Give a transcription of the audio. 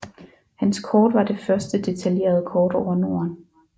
Hans kort var det første detaljerede kort over Norden